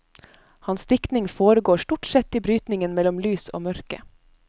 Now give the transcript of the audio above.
Hans diktning foregår stort sett i brytningen mellom lys og mørke.